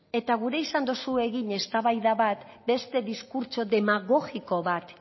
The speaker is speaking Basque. eta gura izan duzu egin eztabaida bat beste diskurtso demagogiko bat